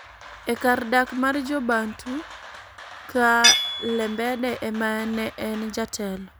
e kar dak mar Jo - Bantu, ka Lembede ema ne en jatelo,